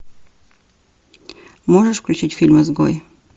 можешь включить фильм изгой